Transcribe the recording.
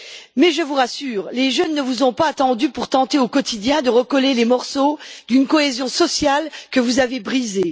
Mais je vous rassure, les jeunes ne vous ont pas attendus pour tenter au quotidien de recoller les morceaux d'une cohésion sociale que vous avez brisée.